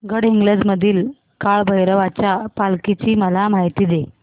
गडहिंग्लज मधील काळभैरवाच्या पालखीची मला माहिती दे